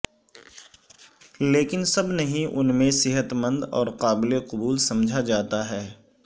لیکن سب نہیں ان میں صحت مند اور قابل قبول سمجھا جاتا ہے